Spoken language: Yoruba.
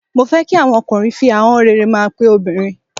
Mó fẹ́ kí àwa ọkùnrin fi ahọ́n rere máa pe obìnrin.